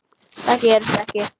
Það gerist ekki,